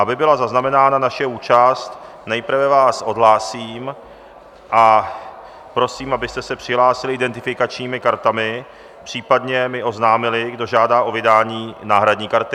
Aby byla zaznamenána naše účast, nejprve vás odhlásím a prosím, abyste se přihlásili identifikačními kartami, případně mi oznámili, kdo žádá o vydání náhradní karty.